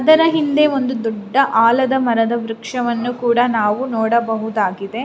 ಇದರ ಹಿಂದೆ ಒಂದು ದೊಡ್ಡ ಆಲದ ಮರದ ವೃಕ್ಷವನ್ನು ನಾವು ನೋಡಬಹುದಾಗಿದೆ.